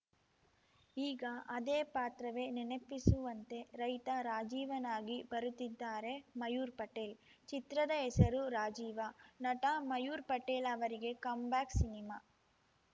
ಈಗ ಅದೇ ಪಾತ್ರವೇ ನೆನಪಿಸುವಂತೆ ರೈತ ರಾಜೀವನಾಗಿ ಬರುತ್ತಿದ್ದಾರೆ ಮಯೂರ್‌ ಪಟೇಲ್‌ ಚಿತ್ರದ ಹೆಸರು ರಾಜೀವ ನಟ ಮಯೂರ್‌ ಪಟೇಲ್‌ ಅವರಿಗೆ ಕಮ್‌ ಬ್ಯಾಕ್‌ ಸಿನಿಮಾ